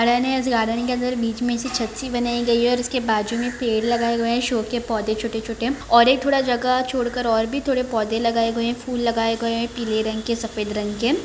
Garden के अंदर बीच में ऐसी छत सी बनाई गयी है और इसके बाजु में पेड़ लगाए हुए है शो के पौधे छोटे- छोटे और एक थोड़ा जगह छोड कर और भी थोड़े पौधे लगाए गए है फूल लगाए गए है पिले रंग के सफ़ेद रंग के।